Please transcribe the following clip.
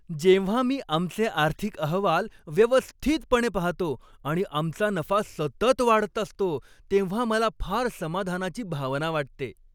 जेव्हा मी आमचे आर्थिक अहवाल व्यवस्थितपणे पाहतो आणि आमचा नफा सतत वाढत असतो, तेव्हा मला फार समाधानाची भावना वाटते.